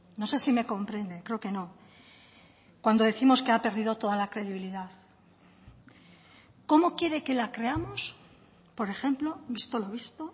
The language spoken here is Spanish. no sé si me comprende creo que no cuando décimos que ha perdido toda la credibilidad cómo quiere que la creamos por ejemplo visto lo visto